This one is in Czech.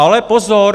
Ale pozor!